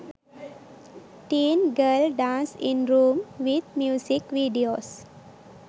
teen girl dance in room with music videos